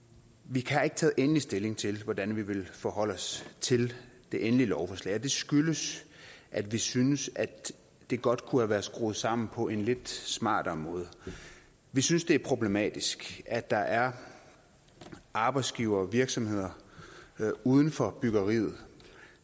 vi har ikke taget endelig stilling til hvordan vi vil forholde os til det endelige lovforslag og det skyldes at vi synes at det godt kunne have været skruet sammen på en lidt smartere måde vi synes det er problematisk at der er arbejdsgivere og virksomheder uden for byggeriet